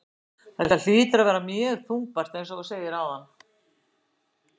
Þetta hlýtur að vera mjög þungbært eins og þú segir áðan?